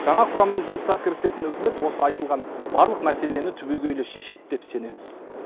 жаңа құраммен жұмысқа кірісетін үкімет осы айтылған барлық мәселені түбегейлі шешеді деп сенеміз